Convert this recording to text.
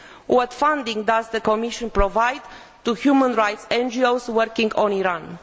What funding does the Commission provide to human rights NGOs working in Iran?